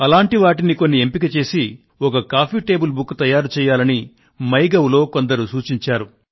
అలాంటి వాటిని కొన్ని ఎంపిక చేసి ఒక కాఫీ టేబుల్ బుక్ తయారు చేయాలని మై గవ్ లో కొందరు సూచించారు